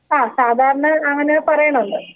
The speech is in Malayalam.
ആ സാധാരണ അങ്ങനെ പറയണമല്ലോ?